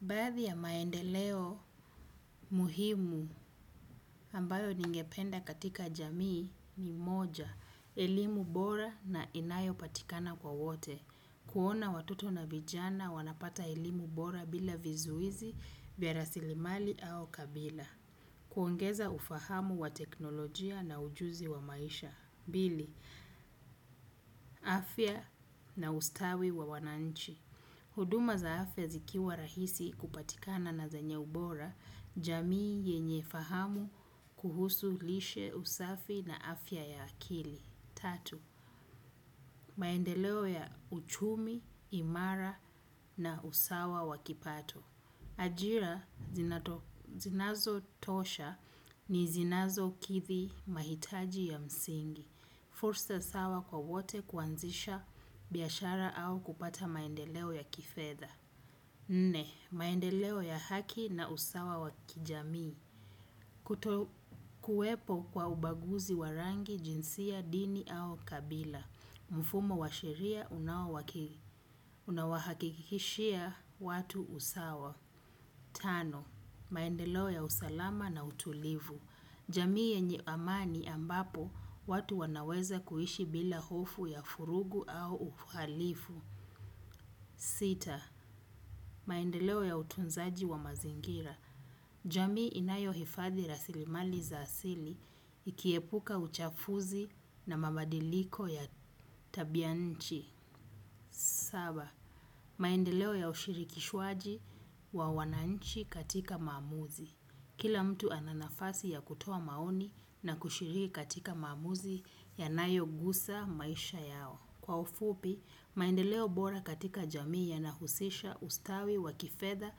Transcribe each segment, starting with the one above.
Baadhi ya maendeleo muhimu ambayo ningependa katika jamii ni moja, elimu bora na inayo patikana kwa wote. Kuona watoto na vijana wanapata elimu bora bila vizuizi, vya rasilimali au kabila. Kuongeza ufahamu wa teknolojia na ujuzi wa maisha. Pili, afya na ustawi wa wananchi. Huduma za afya zikiwa rahisi kupatikana na zenye ubora, jamii yenye fahamu kuhusu lishe usafi na afya ya akili. Tatu, maendeleo ya uchumi, imara na usawa wa kipato. Ajira zinazo tosha ni zinazo kithi mahitaji ya msingi. Fursa sawa kwa wote kuanzisha biashara au kupata maendeleo ya kifedha. Nne maendeleo ya haki na usawa wa kijamii kutokuwepo kwa ubaguzi wa rangi jinsia dini au kabila mfumo wa sheria unao wahakikishia watu usawa. Tano, maendeleo ya usalama na utulivu, jamii yenye amani ambapo watu wanaweza kuishi bila hofu ya furugu au uhalifu. Sita, maendeleo ya utunzaji wa mazingira. Jamii inayo hifadhi rasilimali za asili ikiepuka uchafuzi na mabadiliko ya tabia nchi. Saba, maendeleo ya ushiri kishwaji wa wananchi katika maamuzi. Kila mtu ana nafasi ya kutoa maoni na kushiri katika mamuzi yanayo gusa maisha yao. Kwa ufupi, maendeleo bora katika jamii yana husisha ustawi wa kifedha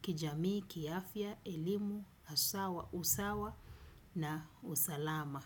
kijamii kiafya, elimu, haswa, usawa na usalama.